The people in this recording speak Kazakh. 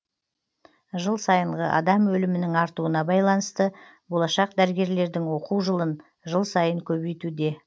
жыл сайынғы адам өлімінің артуына байланысты болашақ дәрігерлердің оқу жылын жыл сайын көбейтуде